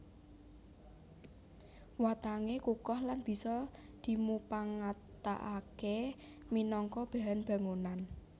Watangé kukoh lan bisa dimupangataké minangka bahan bangunan